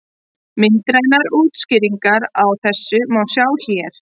Myndrænar útskýringar á þessu má sjá hér.